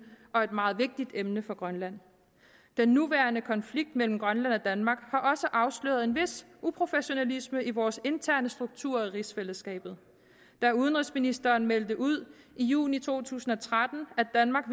og et meget vigtigt emne for grønland den nuværende konflikt mellem grønland og danmark har også afsløret en vis professionalisme i vores interne struktur i rigsfællesskabet da udenrigsministeren meldte ud i juni to tusind og tretten at danmark